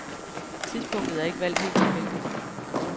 Tidspunktet er ikke valgt helt tilfældigt.